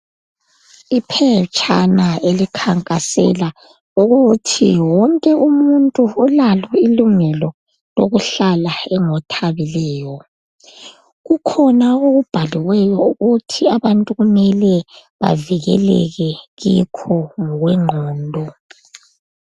Iphetshana elikhankasela ukuthi wonke umuntu ulalo ilungelo lokuhlala engothabileyo kukhona okubhaliweyo ukuthi abantu kumele bavikeleke kikho ngokwengqondo.